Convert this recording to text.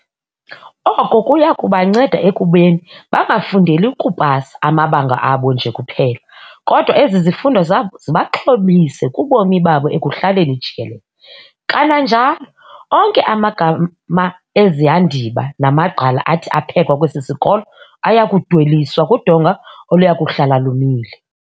Oko kuya kubanceda ekubeni bangafundeli kupasa amabanga abo nje kuphela, kodwa ezi zifundo zabo zibaxhobise kubomi babo ekuhlaleni jikelele. Kananjalo onke amagama ezihandiba namagqala athi aphekwa kwesi sikolo ayakudweliswa kudonga oluya kuhlala lumile.